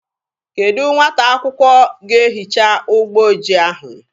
Kedụ nwata akwụkwọ ga-ehicha ụgbọ ojii ahụ?